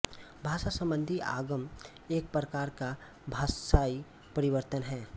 भाषा संबंधी आगम एक प्रकार का भाषायी परिवर्तन है